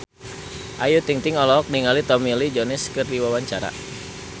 Ayu Ting-ting olohok ningali Tommy Lee Jones keur diwawancara